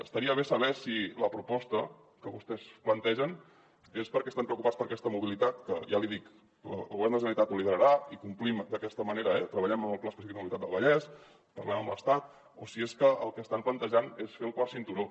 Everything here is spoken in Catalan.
estaria bé saber si la proposta que vostès plantegen és perquè estan preocupats per aquesta mobilitat que ja l’hi dic el govern de la generalitat la liderarà i complim d’aquesta manera eh treballem amb el pla específic de mobilitat del vallès parlem amb l’estat o si és perquè el que estan plantejant és fer el quart cinturó